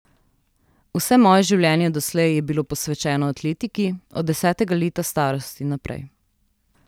Vse moje življenje doslej je bilo posvečeno atletiki, od desetega leta starosti naprej.